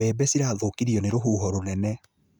Mbebe cirathũkirio nĩ rũhuho rũnene